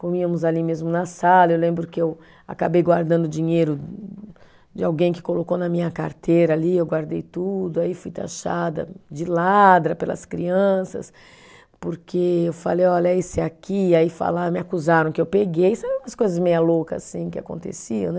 Comíamos ali mesmo na sala, eu lembro que eu acabei guardando dinheiro de alguém que colocou na minha carteira ali, eu guardei tudo, aí fui taxada de ladra pelas crianças, porque eu falei, olha, esse aqui, aí falaram, me acusaram que eu peguei, sabe umas coisas meio loucas assim que aconteciam, né?